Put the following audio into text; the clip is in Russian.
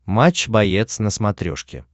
матч боец на смотрешке